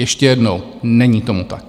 Ještě jednou: Není tomu tak!